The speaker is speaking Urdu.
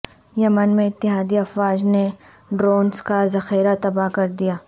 یمن میں اتحادی افواج نے ڈرونز کا ذخیرہ تباہ کر دیا